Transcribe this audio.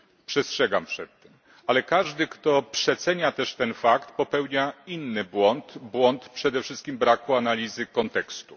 Przestrzegam przed tym. Ale każdy kto przecenia też ten fakt, popełnienia inny błąd przede wszystkim braku analizy kontekstu.